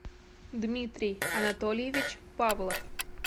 дмитрий анатольевич павлов